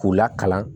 K'u lakalan